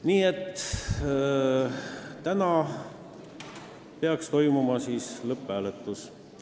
Nii et täna peaks toimuma lõpphääletus.